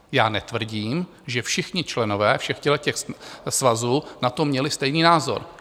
Já netvrdím, že všichni členové všech těchhle svazů na to měli stejný názor.